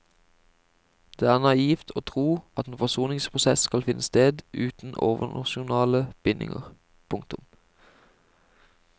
Det er naivt å tro at en forsoningsprosess skal finne sted uten overnasjonale bindinger. punktum